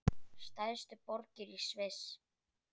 Stærstu borgir í Sviss